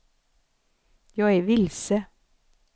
jag är vilse